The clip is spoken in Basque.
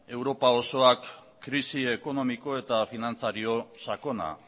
europa osoak krisi ekonomiko eta finantzario sakona